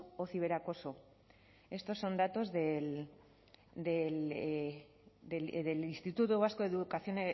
o ciberacoso estos son datos del instituto vasco de evaluación